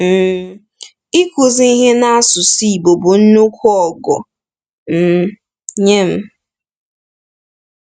um Ikuzi ihe n’asụsụ Igbo bụ nnukwu ọgụ um nye m.